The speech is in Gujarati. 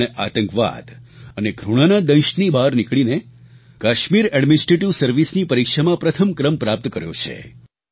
તેમણે આતંકવાદ અને ઘૃણાના દંશની બહાર નીકળીને કાશ્મીર એડ્મિનિસ્ટ્રેટિવ સર્વિસની પરીક્ષામાં પ્રથમ ક્રમ પ્રાપ્ત કર્યો છે